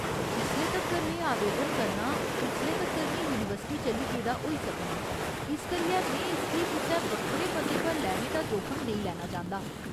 जिसले तक्कर में आवेदन करनां उसले तक्कर में यूनिवर्सिटी चली गेदा होई सकनां, इस करियै में इसगी कुसै बक्खरे पते पर लैने दा जोखम नेईं लैना चांह्दा।